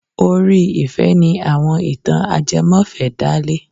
Orí ìfẹ́ ni àwọn ìtàn ajẹmọ́fẹ̀ẹ́ dálé.